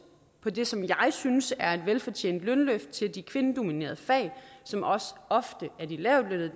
på det som jeg synes er et velfortjent lønløft til de kvindedominerede fag som også ofte er de lavtlønnede